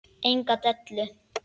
Enga dellu!